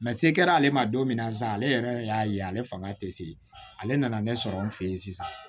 se kɛra ale ma don min na sisan ale yɛrɛ y'a ye ale fanga tɛ se ale nana ne sɔrɔ n fɛ yen sisan